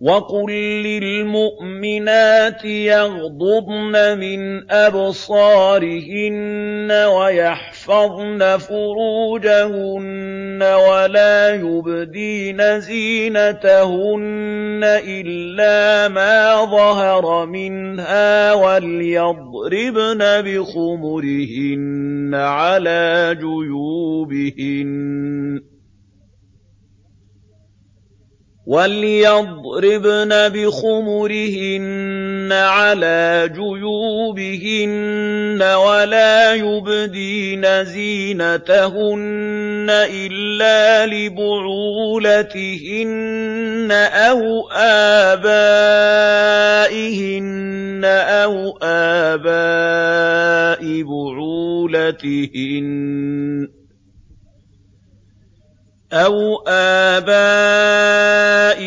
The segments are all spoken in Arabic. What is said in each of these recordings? وَقُل لِّلْمُؤْمِنَاتِ يَغْضُضْنَ مِنْ أَبْصَارِهِنَّ وَيَحْفَظْنَ فُرُوجَهُنَّ وَلَا يُبْدِينَ زِينَتَهُنَّ إِلَّا مَا ظَهَرَ مِنْهَا ۖ وَلْيَضْرِبْنَ بِخُمُرِهِنَّ عَلَىٰ جُيُوبِهِنَّ ۖ وَلَا يُبْدِينَ زِينَتَهُنَّ إِلَّا لِبُعُولَتِهِنَّ أَوْ آبَائِهِنَّ أَوْ آبَاءِ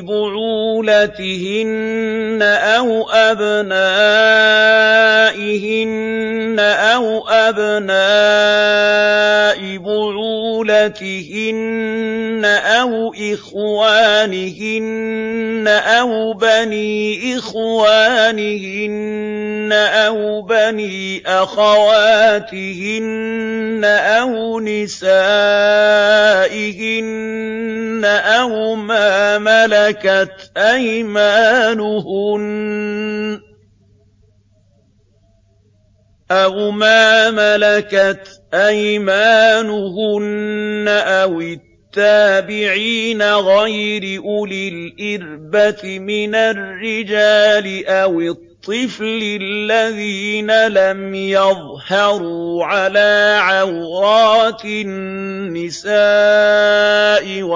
بُعُولَتِهِنَّ أَوْ أَبْنَائِهِنَّ أَوْ أَبْنَاءِ بُعُولَتِهِنَّ أَوْ إِخْوَانِهِنَّ أَوْ بَنِي إِخْوَانِهِنَّ أَوْ بَنِي أَخَوَاتِهِنَّ أَوْ نِسَائِهِنَّ أَوْ مَا مَلَكَتْ أَيْمَانُهُنَّ أَوِ التَّابِعِينَ غَيْرِ أُولِي الْإِرْبَةِ مِنَ الرِّجَالِ أَوِ الطِّفْلِ الَّذِينَ لَمْ يَظْهَرُوا عَلَىٰ عَوْرَاتِ النِّسَاءِ ۖ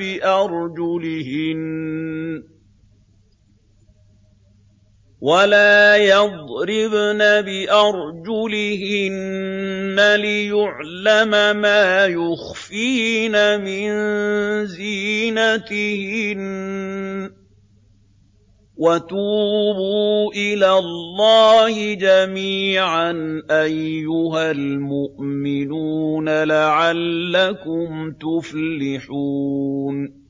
وَلَا يَضْرِبْنَ بِأَرْجُلِهِنَّ لِيُعْلَمَ مَا يُخْفِينَ مِن زِينَتِهِنَّ ۚ وَتُوبُوا إِلَى اللَّهِ جَمِيعًا أَيُّهَ الْمُؤْمِنُونَ لَعَلَّكُمْ تُفْلِحُونَ